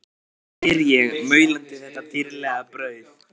spyr ég, maulandi þetta dýrlega brauð.